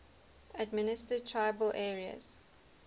administered tribal areas